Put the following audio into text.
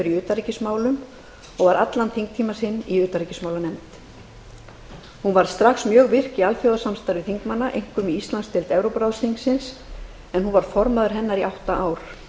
utanríkismálum og var allan þingtíma sinn í utanríkismálanefnd hún varð strax mjög virk í alþjóðasamstarfi þingmanna einkum í íslandsdeild evrópuráðsþingsins en hún var formaður hennar í átta ár